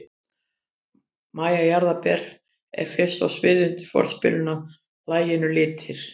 MÆJA JARÐARBER er fyrst á sviðið undir forspilinu að laginu Litir.